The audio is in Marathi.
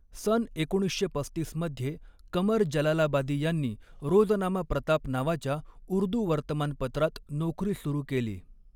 सन एकोणीसशे पस्तीस मध्ये क़मर जलालाबादी यांनी रोज़नामा प्रताप नावाच्या उर्दू वर्तमानपत्रात नोकरी सुरू केली.